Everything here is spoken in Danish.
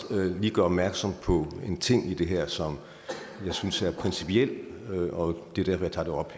lige gøre opmærksom på en ting i det her som jeg synes er principiel og det er derfor jeg tager det op